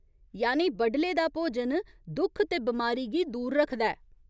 यानि बडले दा भोजन दुख ते बमारी गी दूर रखदा ऐ।